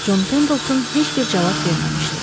Con Pendelton heç bir cavab verməmişdi.